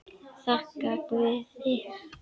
Þakka guði.